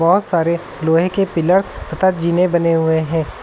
बहोत सारे लोहे के पिलर्स तथा जीने बने हुए हैं।